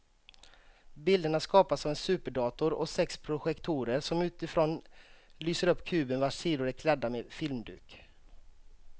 Bilderna skapas av en superdator och sex projektorer som utifrån lyser upp kuben vars sidor är klädda med filmduk.